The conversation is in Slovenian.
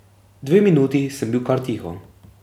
Dve minuti sem bil kar tiho.